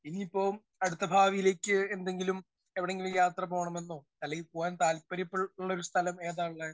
Speaker 1 ഇനി ഇപ്പോ അടുത്ത ഭാവിയിലേക്ക് എന്തെങ്കിലും എവിടെയെങ്കിലും യാത്ര പോകണമെന്നോ? അല്ലെങ്കിൽ പോകാൻ താല്പര്യപ്പെടു ഉള്ള ഒരു സ്ഥലം ഏതാ ഉള്ളെ?